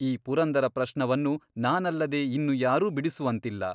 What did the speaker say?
ಈ ಪುರಂದರಪ್ರಶ್ನವನ್ನು ನಾನಲ್ಲದೆ ಇನ್ನು ಯಾರೂ ಬಿಡಿಸುವಂತಿಲ್ಲ.